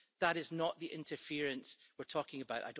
That is not the interference we're talking about.